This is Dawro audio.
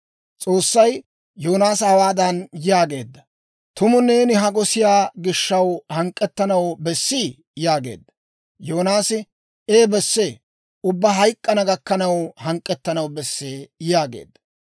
S'oossay Yoonaasa hawaadan yaageedda; «Tumu neeni ha gosiyaa gishaw hank'k'ettanaw bessii?» yaageedda. Yoonaasi, «Ee besse; ubbaa hayk'k'ana gakkanaw hank'k'ettanaw besse» yaageedda.